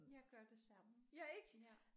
Jeg gør det samme ja